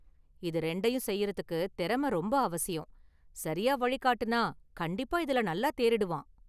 இது ரெண்டையும் செய்றதுக்கு திறமை ரொம்ப அவசியம், சரியா வழிகாட்டுனா கண்டிப்பா இதுல நல்லா தேறிடுவான்.